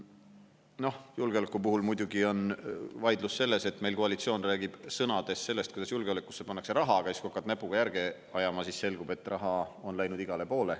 Noh, julgeoleku puhul muidugi on vaidlus selles, et meil koalitsioon räägib sõnades sellest, kuidas julgeolekusse pannakse raha, aga siis kui hakkad näpuga järge ajama, siis selgub, et raha on läinud igale poole.